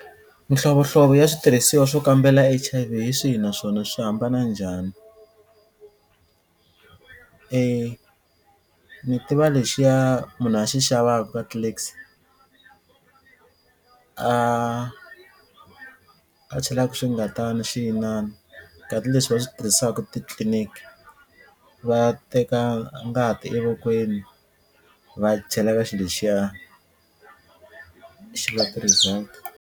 Mihlovohlovo ya switirhisiwa swo kambela H_I_V hi swihi naswona swi hambana njhani? E ni tiva lexiya munhu a xi xavaku ka Clicks a a chelaku swingatani xi inana karhi leswi va swi tirhisaku titliniki va teka ngati evokweni va chela ka xiloxiya xa va ti-result.